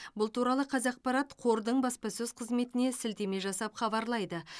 бұл туралы қазақпарат қордың баспасөз қызметіне сілтеме жасап хабарлайды